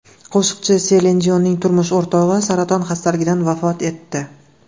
Qo‘shiqchi Selin Dionning turmush o‘rtog‘i saraton xastaligidan vafot etdi.